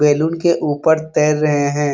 Balloon के ऊपर तैर रहे हैं ।